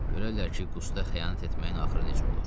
Görərlər ki, Qusta xəyanət etməyin axırı necə olur.